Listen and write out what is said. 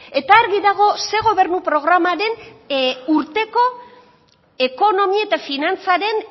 eta argi dago ze gobernu programaren urteko ekonomia eta finantzaren